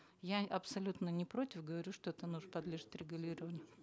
я абсолютно не против говорю что это подлежит регулированию